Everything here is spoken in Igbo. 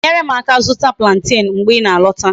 Uju I ga enwere m aka zuta plantain mgbe I na alota?